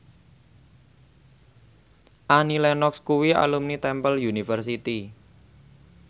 Annie Lenox kuwi alumni Temple University